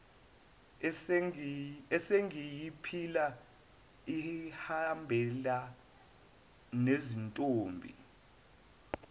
esengiyiphila ihambelana nezintombi